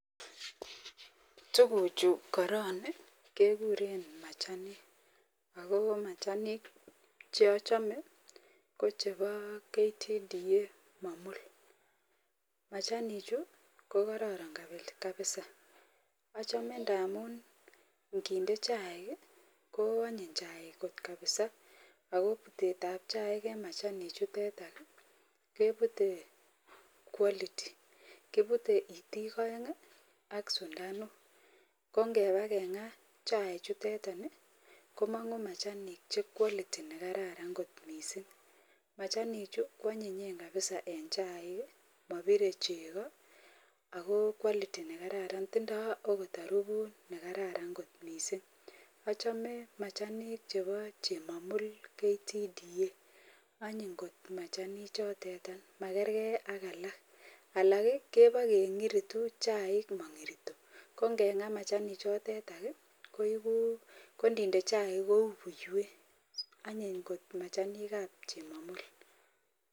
Tuguk Chu koron kekuren machanik akomachanik chechame kochebo ktda momul machanik Chu kokararan kabisa achome ngamun inginde chaik koanyin chai kot kabisa ako butet ab chai en machanik chutetan kebute quality kibute itik aeng ak sindanut kongeba kenga chaik chuteton komangu machanik Che quality kot mising machanik Chu koanyinyen kabisa en chaik akomabite chego ako quality nekararan akot arubut nekararan kot mising achome machanik Cheba chemamul ktda anyin machanik chotetan ako makergei ak alak kebakengiritu chaik mangirito kongengaa machanik chotetan koninde chaik Kou buiywet anyi kot machanik ab chemamul